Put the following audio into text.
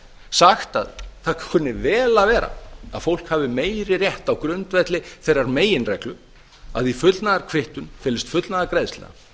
sagt að það kunni vel að vera að fólk hafi meiri rétt á grundvelli þeirrar meginreglu að í fullnaðarkvittun felist fullnaðargreiðsla